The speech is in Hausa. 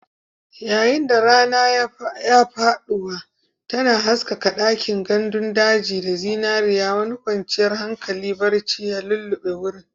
Yayin da rana ke faɗuwa, tana haskaka ɗakin gandun daji da zinariya, wani kwanciyar hankali barci ya lulluɓe wurin.